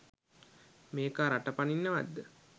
මේකා රට පනින්නවත්ද?